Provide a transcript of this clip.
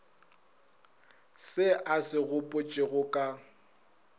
se a se gopotšego ka